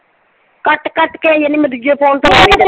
ਕੱਟ ਕੱਟ ਕੇ ਆਈ ਜਾਂਦਾ। ਮੈਂ ਦੂਜੇ ਫੋਨ ਤੇ ਲਾਉਣੀ ਆਂ।